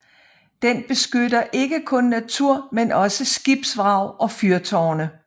Den beskytter ikke kun natur men også skibsvrag og fyrtårne